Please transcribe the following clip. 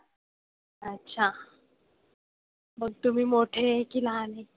अच्छा. मग तुम्ही मोठे की लहान आहे?